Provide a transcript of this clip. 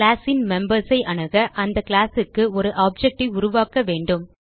class ன் members ஐ அணுக அந்த கிளாஸ் க்கு ஒரு ஆப்ஜெக்ட் ஐ உருவாக்க வேண்டும்